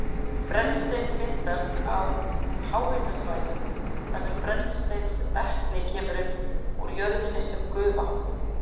Brennisteinn myndast á háhitasvæðum þar sem brennisteinsvetni kemur upp úr jörðinni með gufu.